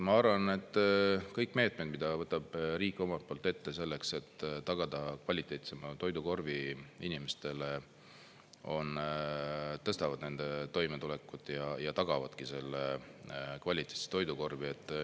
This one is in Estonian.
Ma arvan, et kõik meetmed, mida võtab riik omalt poolt ette selleks, et tagada kvaliteetsem toidukorv inimestele, tõstavad nende toimetulekut ja tagavadki selle kvaliteetse toidukorvi.